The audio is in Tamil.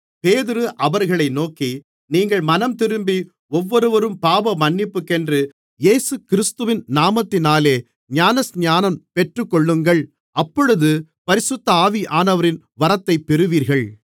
பேதுரு அவர்களை நோக்கி நீங்கள் மனந்திரும்பி ஒவ்வொருவரும் பாவமன்னிப்புக்கென்று இயேசுகிறிஸ்துவின் நாமத்தினாலே ஞானஸ்நானம் பெற்றுக்கொள்ளுங்கள் அப்பொழுது பரிசுத்த ஆவியானவரின் வரத்தைப் பெறுவீர்கள்